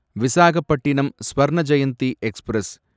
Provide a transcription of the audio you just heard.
Visakhapatnam Swarna Jayanti express